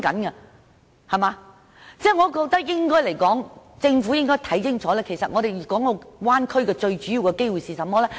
我覺得政府應該看清楚大灣區最主要的機會是甚麼？